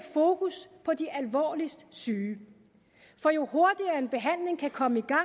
fokus på de alvorligst syge for jo hurtigere en behandling kan komme i gang